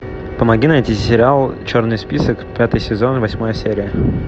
помоги найти сериал черный список пятый сезон восьмая серия